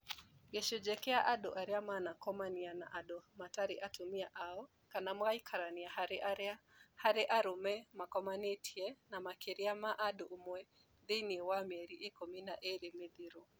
Gĩcunjĩ kĩa andu arĩa manakomanĩa na andũ matarĩ atumia ao kana magaikarania harĩ arũme makomanĩtie na makĩria ma mũndũ ũmwe thĩinĩ wa mĩeri ikũmi na ĩĩrĩ mĩthiru